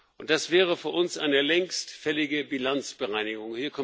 und das wäre für uns eine längst fällige Bilanzbereinigung.